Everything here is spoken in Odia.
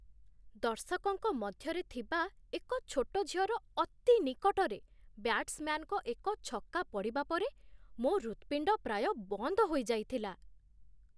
ଦର୍ଶକଙ୍କ ମଧ୍ୟରେ ଥିବା ଏକ ଛୋଟ ଝିଅର ଅତି ନିକଟରେ ବ୍ୟା୍ଟ୍ସ୍‌ମ୍ୟାନ୍‌ସ୍‌ଙ୍କ ଏକ ଛକା ପଡ଼ିବା ପରେ ମୋ ହୃତ୍‌ପିଣ୍ଡ ପ୍ରାୟ ବନ୍ଦ ହୋଇଯାଇଥିଲା।